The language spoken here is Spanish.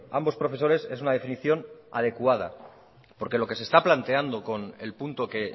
ambos profesores es una definición adecuada porque lo que se está planteando con el punto que